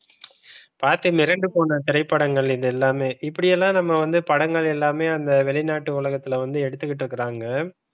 பார்த்து மிரண்டு போன திரைப்படங்கள் இது எல்லாமே இப்படி எல்லாமே நம்ம வந்து படங்கள் எல்லாமே அந்த வெளிநாட்டு உலகத்துல வந்து எடுத்துக்கிட்டு இருக்காங்க